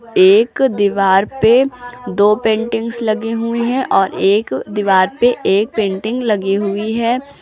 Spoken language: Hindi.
एक दीवार पे दो पेंटिंग्स लगी हुई हैं और एक दीवार पे एक पेंटिंग लगी हुई है।